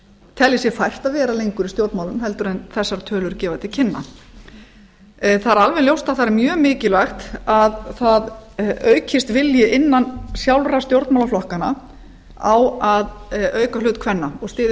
telji sér fært að vera lengur í stjórnmálum heldur en þessar tölur gefa til kynna það er alveg ljóst að það er mjög mikilvægt að það aukist vilji innan sjálfra stjórnmálaflokkanna á að auka hlut kvenna og styðja